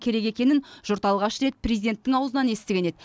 керек екенін жұрт алғаш рет президенттің аузынан естіген еді